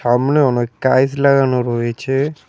সামনে অনেক কাইচ লাগানো রয়েছে।